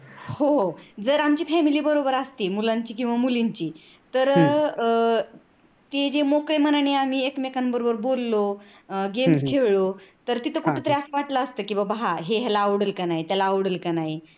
हो जर आमची family मुलांची किंवा मुलींची तर अह ते जे आम्ही मोकळे मानने एकमेकांबरोबर बोललो, अं game खेळलो. तर ते कोठेतरी त्रास वाटलं असत कि हा ते ह्याला आवडेल कि नाही त्याला आवडेल कि नाही